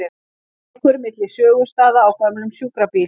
Ekur milli sögustaða á gömlum sjúkrabíl